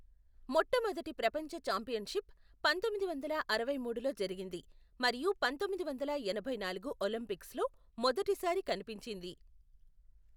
మొట్టమొదటి ప్రపంచ ఛాంపియన్షిప్ పంతొమ్మిది వందల అరవై మూడులో జరిగింది మరియు పంతొమ్మిది వందల ఎనభై నాలుగు ఒలింపిక్స్లో మొదటిసారి కనిపించింది.